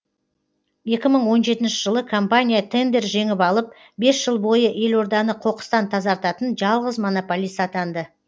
екі мың он жетінші жылы компания тендер жеңіп алып бес жыл бойы елорданы қоқыстан тазартатын жалғыз монополист атанды